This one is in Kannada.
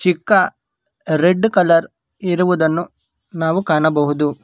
ಇಕ್ಕ ರೆಡ್ ಕಲರ್ ಇರುವುದನ್ನು ನಾವು ಕಾಣಬಹುದು.